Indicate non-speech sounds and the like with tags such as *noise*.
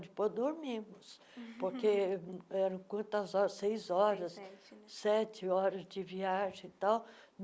Depois dormimos, *laughs* porque eram quantas horas seis horas, sete sete horas de viagem e tal.